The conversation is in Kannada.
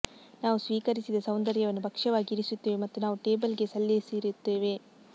ನಾವು ಸ್ವೀಕರಿಸಿದ ಸೌಂದರ್ಯವನ್ನು ಭಕ್ಷ್ಯವಾಗಿ ಇರಿಸುತ್ತೇವೆ ಮತ್ತು ನಾವು ಟೇಬಲ್ಗೆ ಸಲ್ಲಿಸಿರುತ್ತೇವೆ